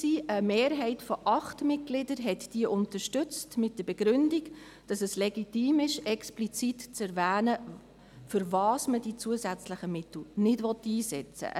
Eine Mehrheit von 8 Mitgliedern hat diese mit der Begründung unterstützt, es sei legitim, explizit zu erwähnen, wofür man die zusätzlichen Mittel nicht einsetzen wolle.